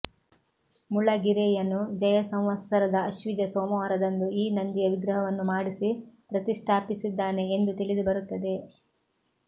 ಮುಳಗಿರೆಯನು ಜಯಸಂವತ್ಸರದ ಆಶ್ವಿಜ ಸೋಮವಾರದಂದು ಈ ನಂದಿಯ ವಿಗ್ರಹವನ್ನು ಮಾಡಿಸಿ ಪ್ರತಿಷ್ಠಾಪಿಸಿದ್ದಾನೆ ಎಂದು ತಿಳಿದುಬರುತ್ತದೆ